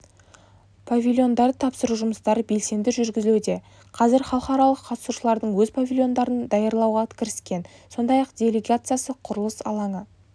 павильондарды тапсыру жұмыстары белсенді жүргізілуде қазір халықаралық қатысушылардың өз павильондарын даярлауға кіріскен сондай-ақ делегациясы құрылыс алаңы